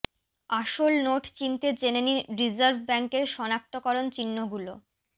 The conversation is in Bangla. আসল নোট চিনতে জেনে নিন রিজার্ভ ব্যাঙ্কের শনাক্তকরণ চিহ্নগুলো